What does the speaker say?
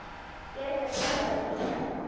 Ég er ekkert að blaðra því í alla.